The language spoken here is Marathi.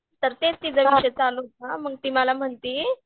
तर तेच तिजा विषय चालू होता मग ती मला म्हणती